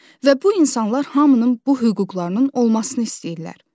Və bu insanlar hamının bu hüquqlarının olmasını istəyirlər.